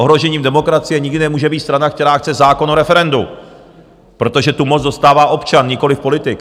Ohrožením demokracie nikdy nemůže být strana, která chce zákon o referendu, protože tu moc dostává občan, nikoliv politik.